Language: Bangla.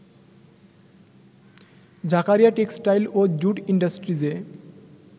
জাকারিয়া টেক্সটাইল ও জুট ইন্ডাস্ট্রিজে